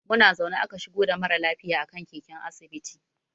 Muna zaune aka shigo da mara lafiya a kan keken asibiti.